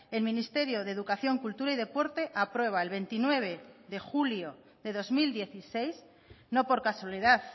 el ministerio de educación cultura y deporte aprueba el veintinueve de julio de dos mil dieciséis no por casualidad